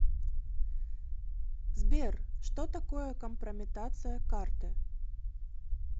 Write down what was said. сбер что такое компрометация карты